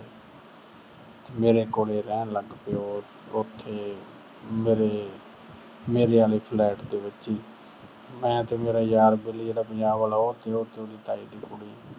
ਮੇਰੇ ਕੋਲੇ ਰਹਿਣ ਲੱਗ ਪਈ ਉਹ ਅਹ ਉਥੇ ਮੇਰੇ ਅਹ ਮੇਰੇ ਆਲੇ flat ਦੇ ਵਿੱਚ ਈ। ਮੈਂ ਤੇ ਮੇਰਾ ਯਾਰ ਵੈਲੀ ਜਿਹੜਾ ਪੰਜਾਬ ਆਲਾ, ਉਹ ਤੇ ਉਹਦੇ ਤਾਏ ਦੀ ਕੁੜੀ।